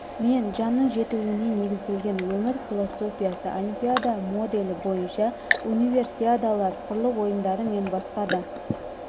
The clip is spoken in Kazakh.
мен жанның жетілуіне негізделген өмір философиясы олимпиада моделі бойынша универсиадалар құрлық ойындары мен басқа да